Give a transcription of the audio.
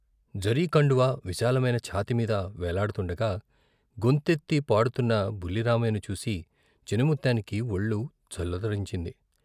జరీ కండువా విశాలమైన ఛాతీమీద వేలాడుతుండగా గొంతెత్తి పాడుతున్న బుల్లి రామయ్యను చూసి చినముత్తానికి ఒళ్లు జలదరించింది.